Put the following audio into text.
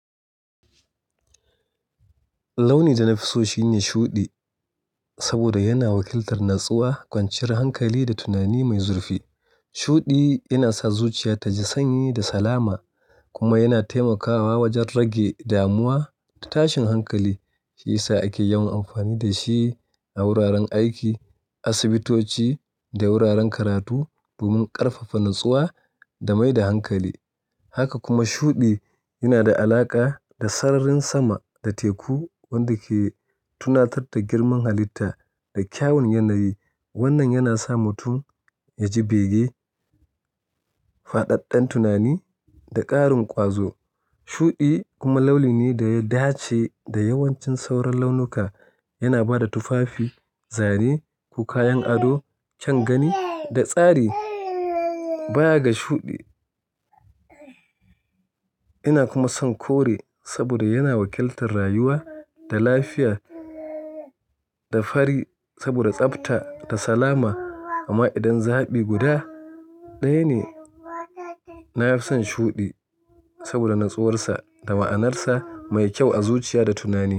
Launi da na fi so shine shuɗi, saboda yana wakiltar natsuwa, kwanciyar hankali da tunani mai zurfi. Shuɗi yana sa zuciya ta ji sanyi da salama, kuma yana taimakawa wajen rage damuwa da tashin hankali. Shiyasa ake yawan amfani da shi a wuraren aiki, asibitoci da wuraren karatu domin ƙarfafa natsuwa da mai da hankali. Haka kuma shuɗi yana da alaƙa da sararin sama da teku, wanda ke tunatattar girman halitta da kyawun yanayi. Wannan yana sa mutum ya ji bege, faɗaɗɗen tunani da ƙarin ƙwazo. Shuɗi kuma launi ne da ya dace da yawancin sauran launuka. Yana ba da tufafi, zane ko kayan ado kyan gani da tsari. Baya ga shuɗi, ina kuma son kore saboda yana wakiltar rayuwa da lafiya da fari saboda tsafta da salama. Amma idan zaɓi guda ɗaya ne, na fi son shuɗi saboda natsuwarsa da ma'anarsa mai kyau a zuciya da tunani.